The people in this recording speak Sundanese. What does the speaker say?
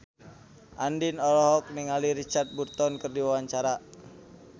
Andien olohok ningali Richard Burton keur diwawancara